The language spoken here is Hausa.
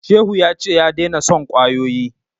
Shehu ya ce ya daina son kwayoyi